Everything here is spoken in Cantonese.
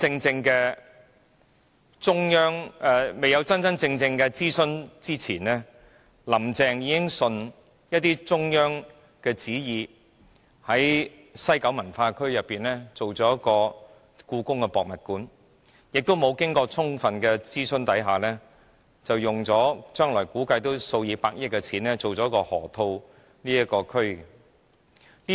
在進行真正的諮詢前，林鄭月娥便已順應中央旨意，打算在西九文化區興建香港故宮文化博物館，亦在沒有充分諮詢下，打算花數以百億元來發展落馬洲河套地區。